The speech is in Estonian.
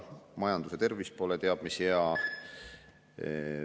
Majanduse tervis pole teab mis hea.